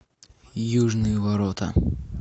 южные ворота